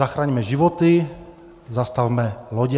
Zachraňme životy, zastavme lodě.